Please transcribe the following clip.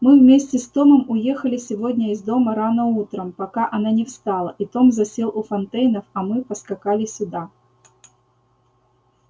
мы вместе с томом уехали сегодня из дома рано утром пока она не встала и том засел у фонтейнов а мы поскакали сюда